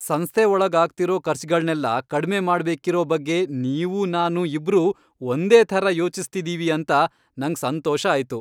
ಸಂಸ್ಥೆ ಒಳಗ್ ಆಗ್ತಿರೋ ಖರ್ಚ್ಗಳ್ನೆಲ್ಲ ಕಡ್ಮೆ ಮಾಡ್ಬೇಕಿರೋ ಬಗ್ಗೆ ನೀವೂ ನಾನೂ ಇಬ್ರೂ ಒಂದೇ ಥರ ಯೋಚಿಸ್ತಿದೀವಿ ಅಂತ ನಂಗ್ ಸಂತೋಷ ಆಯ್ತು.